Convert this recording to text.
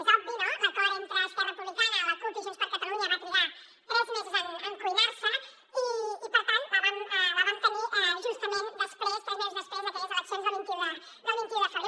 és obvi no l’acord entre esquerra republicana la cup i junts per catalunya va trigar tres mesos en cuinar se i per tant la vam tenir justament després tres mesos després d’aquelles eleccions del vint un de febrer